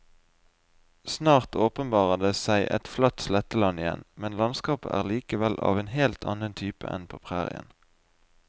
Snart åpenbarer det seg et flatt sletteland igjen, men landskapet er likevel av en helt annen type enn på prærien.